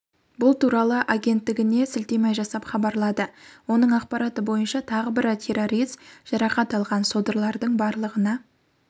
бұл туралы агенттігіне сілтеме жасап хабарлады оның ақпараты бойынша тағы бір террорист жарақат алған содырлардың барлығына